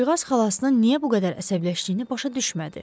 Qızcığaz xalasının niyə bu qədər əsəbləşdiyini başa düşmədi.